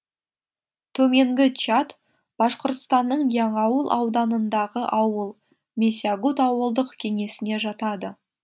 төменгі чат башқұртстанның яңауыл ауданындағы ауыл месягут ауылдық кеңесіне жатады